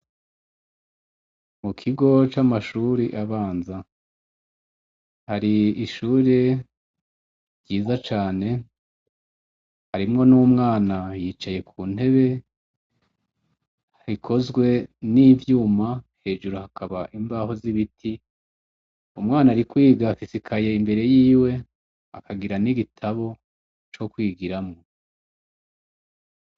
Mu kigo c'amashuri abanza hari ishure ryiza cane, harimwo n'umwana yicaye ku ntebe ikozwe n'ivyuma hejuru hakaba imbaho z'ibiti, umwana ari kwiga afise ikaye imbere yiwe akagira n'igitabo co kwigiramwo.